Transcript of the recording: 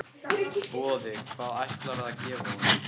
Boði: Hvað ætlarðu að gefa honum?